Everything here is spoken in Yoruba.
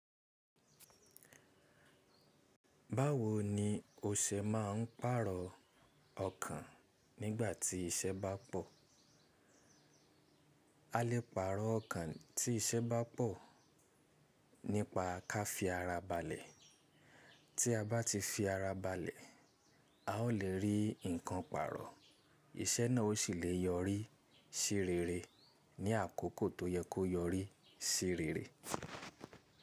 Báwo ni o ṣe máà ń pàrọ̀ ọkàn nígbà tí iṣẹ́ bá pọ̀? A lè pàrọ̀ ọkàn tí iṣẹ́ bá pọ̀ nípa ká fi ara balẹ̀. Tí a bá ti fi ara balẹ̀, a o lè rí nǹkan pàrọ̀. Iṣẹ́ náà o sì lè yọrí sí rere ní àkókò tó yẹ kó yọrí sí rere.